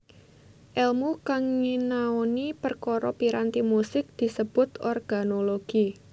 Èlmu kang nyinaoni perkara piranti musik disebut organologi